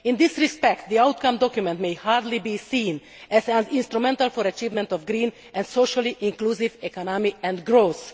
In this respect, the outcome document can hardly be seen as an instrument for the achievement of a green and socially inclusive economy and for growth.